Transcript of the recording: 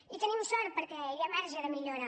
i tenim sort perquè hi ha marge de millora